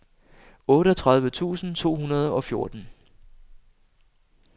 otteogtredive tusind to hundrede og fjorten